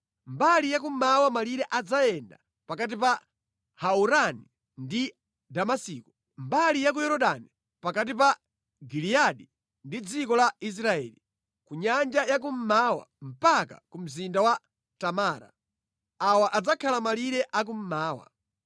Mbali ya kummawa malire adzayenda pakati pa Haurani ndi Damasiko, mbali ya ku Yorodani pakati pa Giliyadi ndi dziko la Israeli, ku nyanja ya kummawa mpaka ku mzinda wa Tamara. Awa adzakhala malire akummawa.